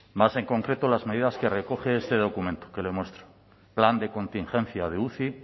más en concreto las medidas que recoge este documento que le muestro plan de contingencia de uci